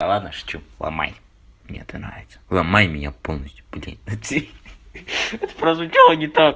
ладно шучу ломай мне это нравится ломай меня полностью блин ха-ха-ха это прозвучало не та